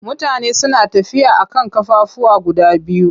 Mutane suna tafiya a kan ƙafafuwa guda biyu.